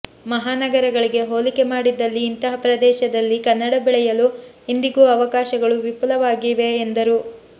ಮಹಾನಗರಗಳಿಗೆ ಹೋಲಿಕೆ ಮಾಡಿದಲ್ಲಿ ಇಂತಹ ಪ್ರದೇಶದಲ್ಲಿ ಕನ್ನಡ ಬೆಳೆಯಲು ಇಂದಿಗೂ ಅವಕಾಶಗಳು ವಿಫುಲವಾಗಿವೆ ಎಂದರು